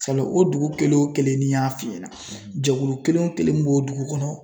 o dugu kelen o kelen ni y'a f'i ɲɛna jɛkulu kelen o kelen m'o dugu kɔnɔ